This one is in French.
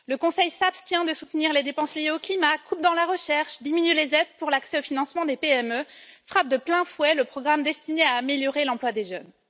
Le Conseil s'abstient de soutenir les dépenses liées au climat, coupe dans la recherche, diminue les aides pour l'accès au financement des PME, frappe de plein fouet le programme destiné à améliorer l'emploi des jeunes.